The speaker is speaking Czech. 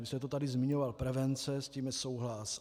Vy jste to tady zmiňoval - prevence, s tím je souhlas.